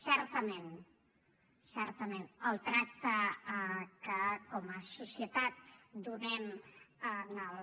certament certament el tracte que com a societat donem en els